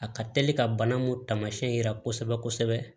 A ka teli ka bana mun taamasiyɛn yira kosɛbɛ